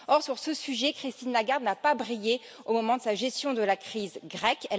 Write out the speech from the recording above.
Or, sur ce sujet, Christine Lagarde n'a pas brillé au moment de sa gestion de la crise grecque.